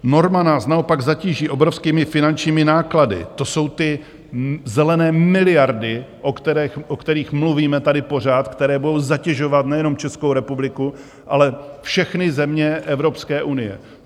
Norma nás naopak zatíží obrovskými finančními náklady, to jsou ty zelené miliardy, o kterých mluvíme tady pořád, které budou zatěžovat nejenom Českou republiku, ale všechny země Evropské unie.